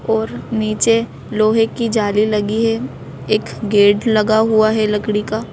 और नीचे लोहे की जाली लगी है एक गेट लगा हुआ है लकड़ी का।